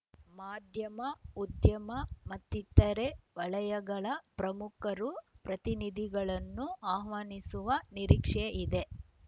ಮಾಧ್ಯಮ ಉದ್ಯಮ ಮತ್ತಿತರೆ ವಲಯಗಳ ಪ್ರಮುಖರು ಪ್ರತಿನಿಧಿಗಳನ್ನೂ ಆಹ್ವಾನಿಸುವ ನಿರೀಕ್ಷೆಯಿದೆ